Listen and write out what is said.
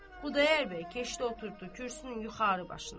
Xudayar bəy keçdi oturdu kürsünün yuxarı başında.